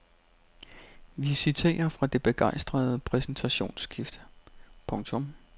Vi citerer fra det begejstrede præsentationsskrift. punktum